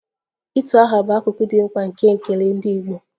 Utu aha bụ akụkụ dị mkpa nke ekele ndị Igbo